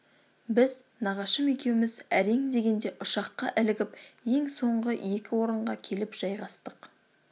біз нағашым екеуміз әрең дегенде ұшаққа ілігіп ең соңғы екі орынға келіп жайғастық